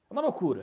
É uma loucura.